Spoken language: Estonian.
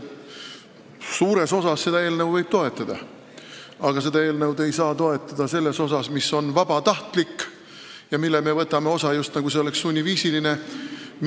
Suures osas võib seda eelnõu toetada, aga ei saa toetada seda osa, mis on vabatahtlik, aga mille me võtame üle, just nagu see oleks sunniviisiline.